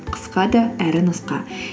қысқа да әрі нұсқа